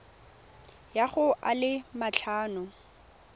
ya go a le matlhano